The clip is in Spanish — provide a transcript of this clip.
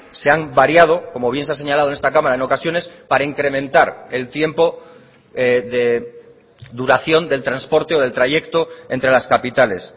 se han variado como bien se ha señalado en esta cámara en ocasiones para incrementar el tiempo de duración del transporte o del trayecto entre las capitales